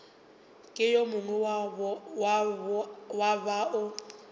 ke yo mongwe wa bao